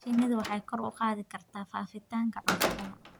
Shinnidu waxay kor u qaadi kartaa faafitaanka cudurrada.